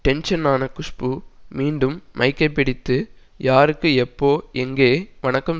டென்ஷனான குஷ்பு மீண்டும் மைக்கைப் பிடித்து யாருக்கு எப்போ எங்கே வணக்கம்